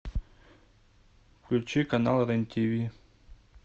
включи канал рен тв